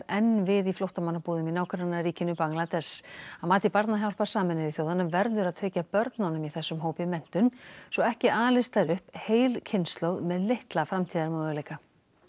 enn við í flóttamannabúðum í nágrannaríkinu Bangladess að mati barnahjálpar Sameinuðu þjóðanna verður að tryggja börnunum í þessum hópi menntun svo ekki alist þar upp heil kynslóð með litla framtíðarmöguleika